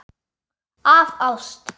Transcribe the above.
Af ást.